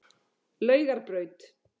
Laugarbraut